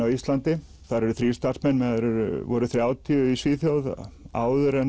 á Íslandi eru nú þrír starfsmenn meðan þeir voru þrjátíu í Svíþjóð áður en